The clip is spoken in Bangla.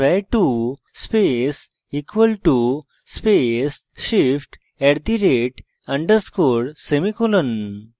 $var2 space = space shift @_ semicolon